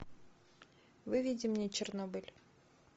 выведи мне чернобыль